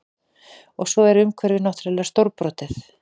Og svo er umhverfið náttúrlega stórbrotið